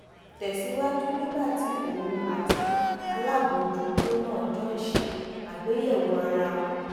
tè síwájú nígbà tí òun àti alábòójútó náà jọ ń ṣe àgbéyèwò ara wọn